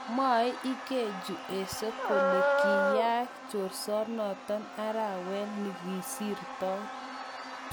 Mwoe Ikechu Eze kole kiyaak chorsonotok arawet nigisirtoi.